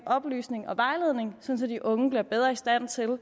oplysning og vejledning så de unge bliver bedre i stand til at